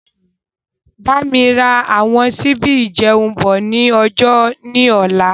Bámi ra àwọn sibi ìjẹun bọ̀ ni ọjà ni ọ̀la.